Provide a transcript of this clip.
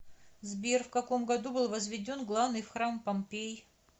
сбер в каком году был возведен главный храм помпей